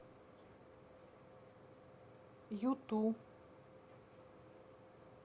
юту